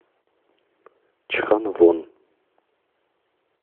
чханвон